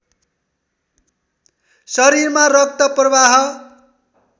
शरीरमा रक्त प्रवाह